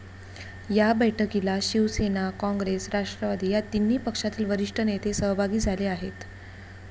या बैठकीला शिवसेना, काँग्रेस, राष्ट्रवादी या तिन्ही पक्षातील वरिष्ठ नेते सहभागी झाले आहेत.